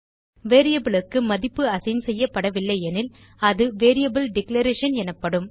variable க்கு மதிப்பு assign செய்யபடவில்லை எனில் அது வேரியபிள் டிக்ளரேஷன் எனப்படும்